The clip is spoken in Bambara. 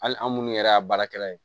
Hali an minnu yɛrɛ y'a baarakɛla ye